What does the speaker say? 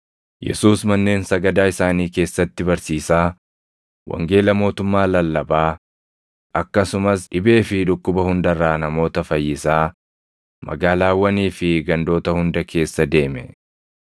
Yesuus manneen sagadaa isaanii keessatti barsiisaa, wangeela mootummaa lallabaa, akkasumas dhibee fi dhukkuba hunda irraa namoota fayyisaa magaalaawwanii fi gandoota hunda keessa deeme.